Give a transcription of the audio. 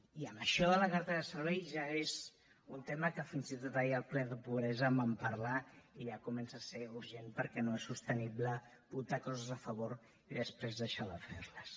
i això de la cartera de serveis ja és un tema que fins i tot ahir al ple de pobresa en vam parlar i ja comença a ser urgent perquè no és sostenible votar coses a favor i després deixar de fer les